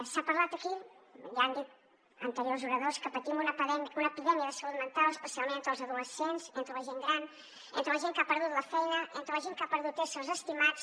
s’ha parlat aquí ja han dit anteriors oradors que patim una epidèmia de salut mental especialment entre els adolescents entre la gent gran entre la gent que ha perdut la feina entre la gent que ha perdut éssers estimats